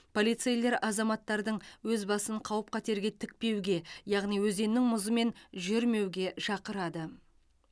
полицейлер азаматтардың өз басын қауіп қатерге тікпеуге яғни өзеннің мұзымен жүрмеуге шақырады